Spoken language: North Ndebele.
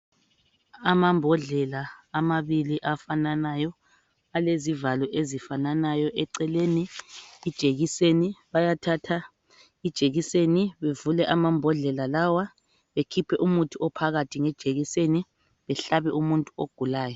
Amambodlela amabili afananayo alezivalo ezifananayo eceleni ijekiseni bayathatha ijekiseni bevule amambodlela lawa bekhiphe umuthi ophakathi ngejekiseni behlabe umuntu ogulayo.